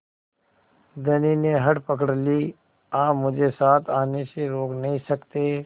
धनी ने हठ पकड़ ली आप मुझे साथ आने से रोक नहीं सकते